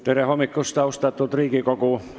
Tere hommikust, austatud Riigikogu!